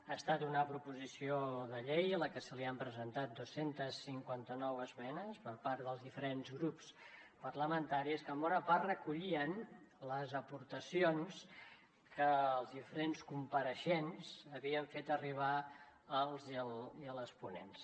ha estat una proposició de llei a la que se li han presentat dos cents i cinquanta nou esmenes per part dels diferents grups parlamentaris que en bona part recollien les aportacions que els diferents compareixents havien fet arribar als i a les ponents